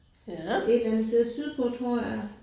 Et eller andet sted sydpå tror jeg